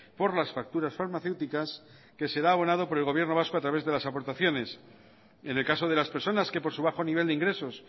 por las facturas farmacéuticas que será abonado por el gobierno vasco a través de las aportaciones en el caso de las personas que por su bajo nivel de ingresos